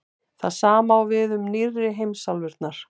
það sama á við um „nýrri“ heimsálfurnar